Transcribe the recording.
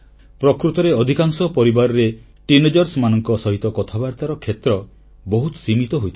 ପ୍ରକୃତରେ ଅଧିକାଂଶ ପରିବାରରେ କିଶୋର କିଶୋରୀମାନଙ୍କ ସହିତ କଥାବାର୍ତ୍ତାର କ୍ଷେତ୍ର ବହୁତ ସୀମିତ ହୋଇଥାଏ